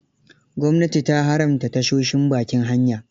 Gwamnati ta haramta tashoshin bakin hanya.